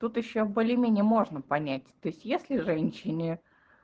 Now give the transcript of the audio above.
тут ещё более-менее можно понять то есть если женщине